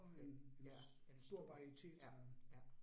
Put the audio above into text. Det ja. En. Ja, ja